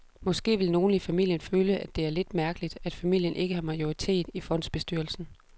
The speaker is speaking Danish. Måske vil nogle i familien føle, at det er lidt mærkeligt, at familien ikke har majoriteten i fondsbestyrelsen.